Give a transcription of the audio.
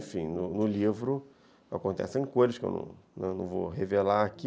No livro acontecem coisas que eu não vou revelar aqui,